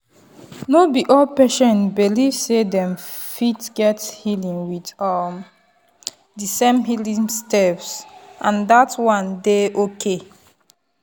no be all patient belief sey dem fit get healing with um the same healing steps and that one dey okay.